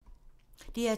DR2